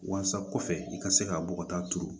Walasa kɔfɛ i ka se ka bɔgɔ ta turu